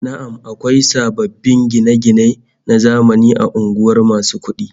Na'am, akwai sababbin gine-gine na zamani a unguwar masu kudin